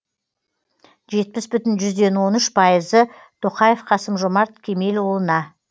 жетпіс бүтін жүзден он үш пайызы тоқаев қасым жомарт кемелұлына